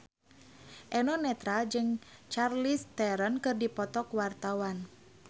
Eno Netral jeung Charlize Theron keur dipoto ku wartawan